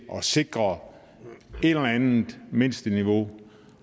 at sikre et eller andet mindsteniveau